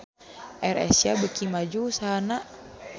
AirAsia beuki maju usahana